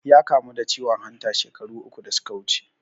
Ya kamu da ciwon hanta shekaru uku da suka wuce